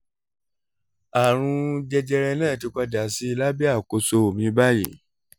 àrùn jẹjẹrẹ náà ti padà sí lábẹ́ àkóso mi báyìí